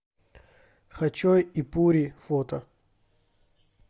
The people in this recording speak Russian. хачо и пури фото